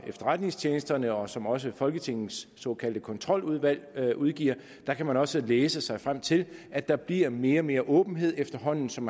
efterretningstjenesterne og som også folketingets såkaldte kontroludvalg udgiver kan man også læse sig frem til at der bliver mere og mere åbenhed efterhånden som